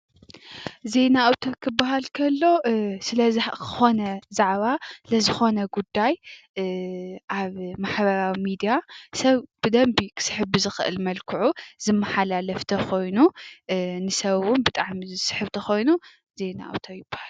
ዜና አውታር ክበሃል ከሎ ስለ ዝኮነ ዛዕባ ንዝኮነ ጉዳይ አብ ማሕበራዊ ሚድያ ሰብ ብደንብ ክስሕብ ብዝክእል መልክዑ ዝመሓላለፍ ተኮይኑ ንሰብ ብጣዕሚ ዝስሕብ እንተኮይኑ ዜና አውታር ይበሃል።